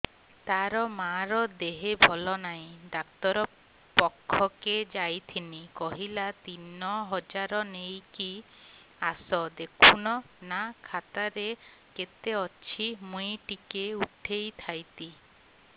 ତାର ମାର ଦେହେ ଭଲ ନାଇଁ ଡାକ୍ତର ପଖକେ ଯାଈଥିନି କହିଲା ତିନ ହଜାର ନେଇକି ଆସ ଦେଖୁନ ନା ଖାତାରେ କେତେ ଅଛି ମୁଇଁ ଟିକେ ଉଠେଇ ଥାଇତି